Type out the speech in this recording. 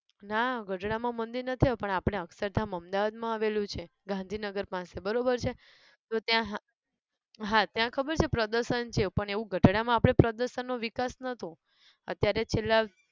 ના ગઢડા માં મંદિર નથી આયુ પણ આપણે અક્ષરધામ અમદાવાદ માં આવેલું છે ગાંધીનગર પાસે બરોબર છે તો ત્યાં હા, હા ત્યાં ખબર છે પ્રદર્શન છે પણ એવું ગઢડા માં આપણે પદર્શન નો વિકાસ નોતો અત્યારે છેલ્લાં